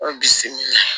O bisimila